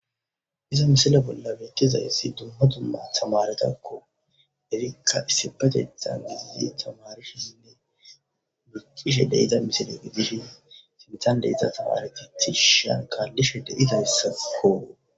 Iza misila bolla wekkizayssi dumma dumma tamaretakko erikka issibatethan gidie tamarishisinne wiqishe deyida misile gidishi simtan deyita tamareteti shankallishe deyidahyssakko